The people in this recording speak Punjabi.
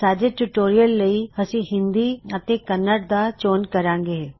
ਸਾਡੇ ਟਿਊਟੋਰਿਯਲ ਲਈ ਅਸੀਂ ਹਿੰਦੀ ਅਤੇ ਕੰਨੜ ਦਾ ਚੋਣ ਕਰਾਂਗੇ